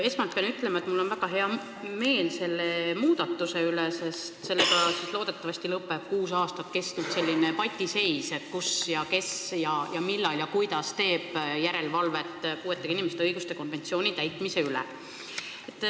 Esmalt pean ütlema, et mul on väga hea meel selle muudatuse üle, sest loodetavasti lõpeb kuus aastat kestnud patiseis, kus ja kes ja millal ja kuidas teeb järelevalvet puuetega inimeste õiguste konventsiooni täitmise üle.